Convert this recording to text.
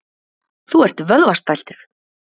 Þú ert vöðvastæltur.